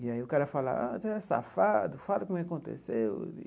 E aí o cara fala, ah, você é safado, fala como é que aconteceu.